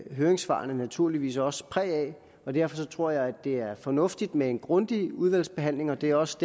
høringssvarene naturligvis også præg af derfor tror jeg at det er fornuftigt med en grundig udvalgsbehandling og det er også